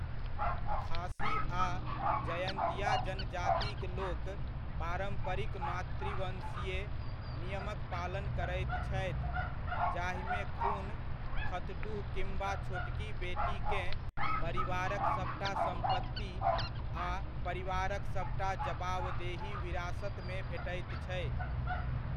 खासी आ जयन्तिया जनजातिक लोक पारम्परिक मातृवंशीय नियमक पालन करैत छथि, जाहिमे खुन खतडुह किम्बा छोटकी बेटीकेँ परिवारक सभटा सम्पत्ति आ परिवारक सभटा जवाबदेही विरासतमे भेटैत छै।